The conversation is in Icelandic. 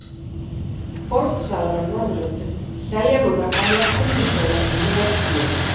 Fornsalar á Norðurlöndum selja núna gamla könnustóla fyrir metfé.